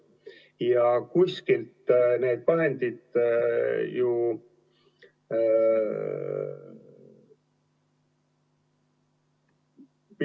Ja kuskilt need vahendid ju ...